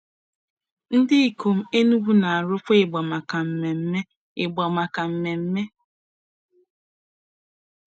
Ndikom Enugwu na-arụkwa ịgba maka mmemme. ịgba maka mmemme.